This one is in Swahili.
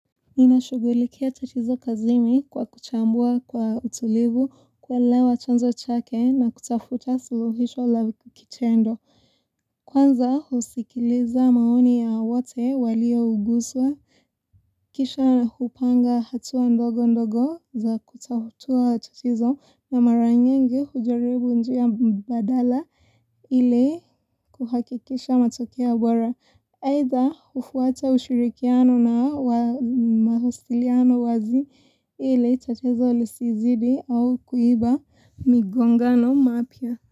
nInashugulikia tatizo kazini kwa kuchambua kwa utulivu, kuelewa chanzo chake na kutafuta suluhisho la hicho kitendo. Kwanza husikiliza maoni ya wote walio guswa, kisha hupanga hatua ndogo ndogo za kutatua tatizo na mara nyingi hujaribu njia mbadala ili kuhakikisha matokea bora. Haidha hufuata ushirikiano na mawasiliano wazi ili tatizo lisizidi au kuiba migongano mapya.